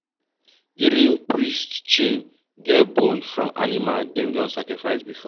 the rain priest chain get bone from animal dem don sacrifice before.